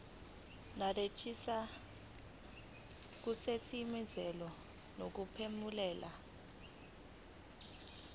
nerejista kusetshenziswe ngokuphumelela